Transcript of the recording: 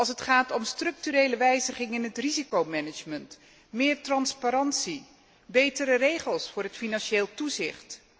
Het gaat om structurele wijziging in het risicomanagement, meer transparantie, betere regels voor het financieel toezicht.